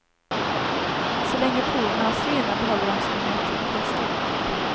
Så länge porerna hålls rena behåller de sin naturliga storlek.